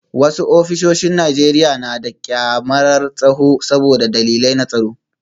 Wasu ofisoshin Najeriya na da kyamarar tsaro saboda dalilai na tsaro